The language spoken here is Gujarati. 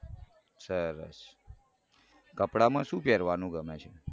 સરસ કપડામાં શું પેરવાનું ઘમે છે.